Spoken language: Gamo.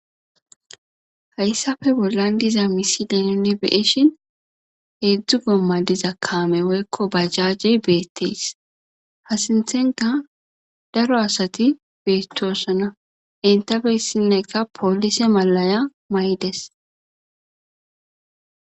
Hayssafe bollan diza misi danune beeshin hedzdzu gomma diza kaame woykko bajajjey beettees ha sinthenka daro asati beetossana entabeyssinnekka poolise malaya may7des